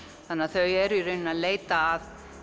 þau eru í rauninni að leita að